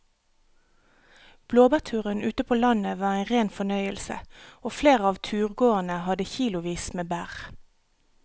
Blåbærturen ute på landet var en rein fornøyelse og flere av turgåerene hadde kilosvis med bær.